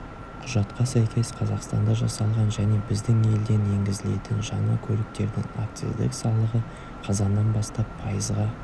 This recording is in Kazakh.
құжатқа сәйкес қазақстанда жасалған және біздің елден енгізілетін жаңа көліктердің акциздік салығы қазаннан бастап пайызға